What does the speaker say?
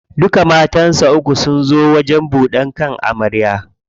Duka matansa uku sun zo wajen buɗan kan amarya.